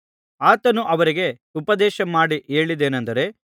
ಆತನು ಅವರಿಗೆ ಉಪದೇಶ ಮಾಡಿ ಹೇಳಿದ್ದೇನೆಂದರೆ